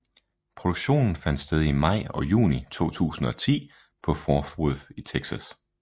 Produktionen fandt sted i maj og juni 2010 på Fort Worth i Texas